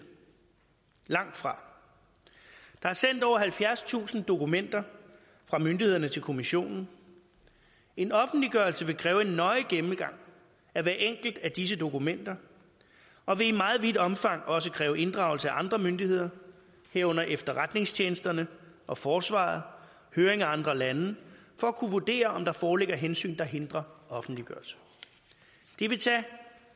langtfra der er sendt over halvfjerdstusind dokumenter fra myndighederne til kommissionen en offentliggørelse vil kræve en nøje gennemgang af hvert enkelt af disse dokumenter og vil i meget vidt omfang også kræve inddragelse af andre myndigheder herunder efterretningstjenesterne og forsvaret og høring af andre lande for at kunne vurdere om der foreligger hensyn der hindrer offentliggørelse det vil tage